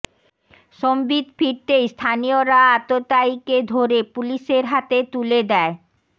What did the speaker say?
সম্বিত ফিরতেই স্থানীয়রা আততায়ীকে ধরে পুলিশের হাতে তুলে দেয়